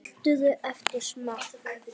Saltaðu eftir smekk.